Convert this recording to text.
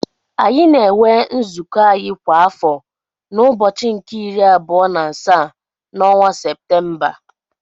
Anyị na-enwe nzụkọ anyị kwa afọ na ụbọchị nke iri abụọ n'asaa n'ọnwa Séptémba